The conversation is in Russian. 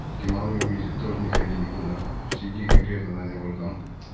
геморрой вылезит тоже не ходи никуда сиди конкретно на нем братан